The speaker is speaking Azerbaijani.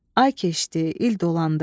Ay keçdi, il dolandı.